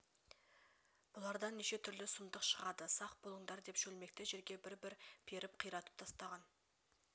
бұлардан неше түрлі сұмдық шығады сақ болыңдар деп шөлмекті жерге бір-бір перкп қиратып тастаған